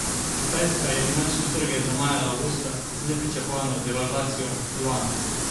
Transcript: Kitajska je finančne trge zamajala avgusta z nepričakovano devalvacijo juana.